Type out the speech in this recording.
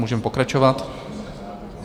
Můžeme pokračovat.